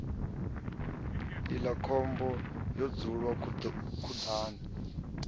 iḽla khomba ho dzulwa khuḓani